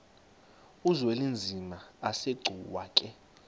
uzwelinzima asegcuwa ke